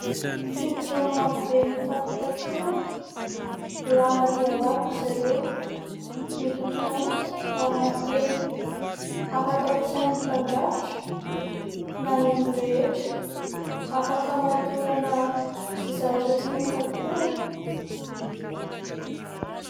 Fingotra marobe nofatopatorana lava dia lava izy ireo miloko mainty ary matevina ; afaka ampasain'ny mpandrafitra na ny olon-drehetra, afaka hamatorana izay zavatra tiana fatorana.